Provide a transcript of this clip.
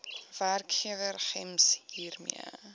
werkgewer gems hiermee